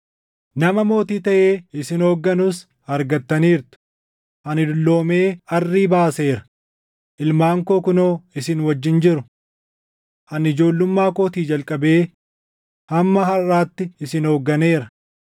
Nama mootii taʼee isin hoogganus argattaniirtu. Ani dulloomee arrii baaseera; ilmaan koo kunoo isin wajjin jiru. Ani ijoollummaa kootii jalqabee hamma harʼaatti isin hoogganeera.